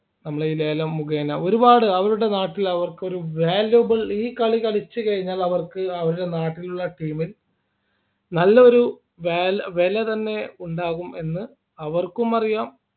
നമ്മൾ ഈ ലേലം മുഖേന ഒരുപാട് അവരുടെ നാട്ടിൽ അവർക്ക് ഒരു valuable ഈ കളി കളിച്ചു കഴിഞ്ഞാൽ അവർക്ക് അവരുടെ നാട്ടിലുള്ള team ൽ നല്ലൊരു വാലാ വില തന്നെ ഉണ്ടാകും എന്ന് അവർക്കും അറിയാം